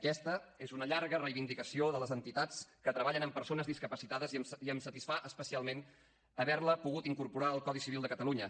aquesta és una llarga reivindicació de les entitats que treballen amb persones discapacitades i em satisfà especialment haver la pogut incorporar al codi civil de catalunya